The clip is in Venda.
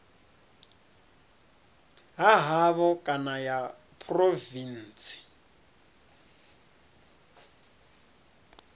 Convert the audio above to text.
ha havho kana ya phurovintsi